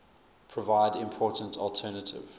provide important alternative